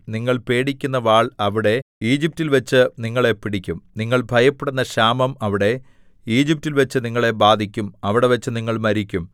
നിങ്ങൾ പേടിക്കുന്ന വാൾ അവിടെ ഈജിപ്റ്റിൽവെച്ച് നിങ്ങളെ പിടിക്കും നിങ്ങൾ ഭയപ്പെടുന്ന ക്ഷാമം അവിടെ ഈജിപ്റ്റിൽവെച്ച് നിങ്ങളെ ബാധിക്കും അവിടെവച്ച് നിങ്ങൾ മരിക്കും